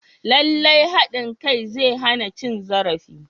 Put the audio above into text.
Lallai haɗin kai zai hana cin zarafi.